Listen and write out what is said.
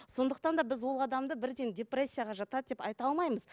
сондықтан да біз ол адамды бірден депрессияға жатады деп айта алмаймыз